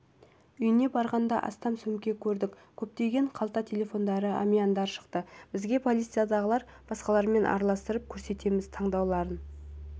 үйіне барғанда астам сөмке көрдік көптеген қалта телефондары әмияндар шықты бізге полициядағылар басқалармен араластырып көрсетеміз тануларыңыз